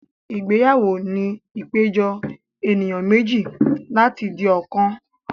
Ìgbéyàwó jẹ́ ìpéjọ ènìyàn méjì láti di ọ̀kan